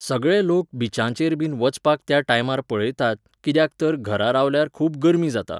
सगळे लोक बिचांचेरबीन वचपाक त्या टायमार पळयतात, कित्याक तर घरा रावल्यार खूब गर्मी जाता.